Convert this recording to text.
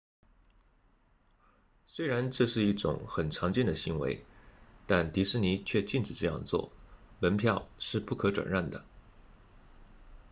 虽然这是一种很常见的行为但迪士尼却禁止这样做门票是不可转让的